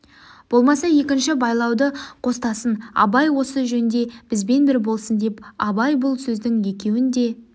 болмаса екінші байлауды қостасын абай осы жөнде бізбен бір болсын депті абай бұл сөздің екеуіне де